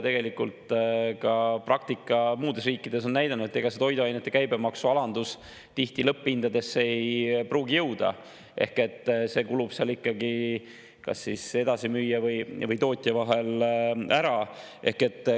Tegelikult ka praktika muudes riikides on näidanud, et ega toiduainete käibemaksu alandus tihti lõpphindadesse ei pruugi jõuda, sest see kulub ikkagi kas siis edasimüüja või tootja vahel ära.